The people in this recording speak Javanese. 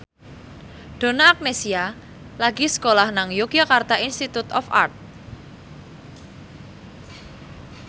Donna Agnesia lagi sekolah nang Yogyakarta Institute of Art